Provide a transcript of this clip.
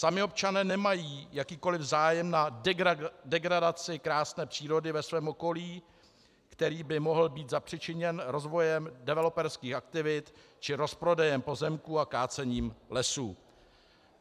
Sami občané nemají jakýkoliv zájem na degradaci krásné přírody ve svém okolí, který by mohl být zapříčiněn rozvojem developerských aktivit či rozprodejem pozemků a kácením lesů.